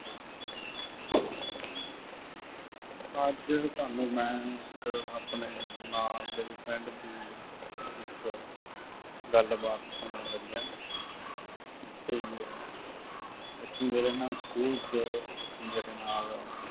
ਅੱਜ ਤੁਹਾਨੂੰ ਮੈਂ ਇੱਕ ਆਪਣੇ ਨਾਲ ਦੇ friend ਦੀ ਇੱਕ ਗੱਲਬਾਤ ਸੁਣਾਉਣ ਲੱਗਿਆਂ। ਅਤੇ ਇੱਕ ਮੇਰੇ ਨਾਲ ਸਕੂ਼ਲ ਚ, ਮੇਰੇ ਨਾਲ,